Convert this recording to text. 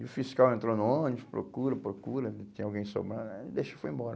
E o fiscal entrou no ônibus, procura, procura, tem alguém somando, deixa e foi embora.